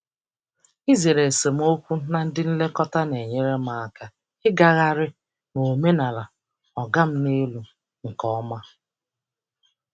Izere esemokwu na ndị nlekọta na-enyere m aka ịgagharị n'omenala “oga m n'elu” nke ọma.